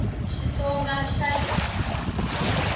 xitsonga xa hina